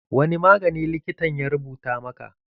Wani magani likitan ya rubuta maka?